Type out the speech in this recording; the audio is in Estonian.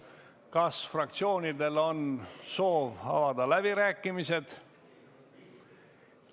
Kas fraktsioonidel on soov avada läbirääkimised?